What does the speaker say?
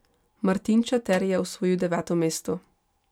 Martin Čater je osvojil deveto mesto.